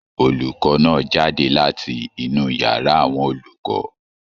Olùkọ náà jáde láti inú yàrá àwọn olùkọ.